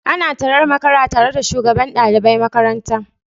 Ana tarar makara tare da shugaban dalibai makaranta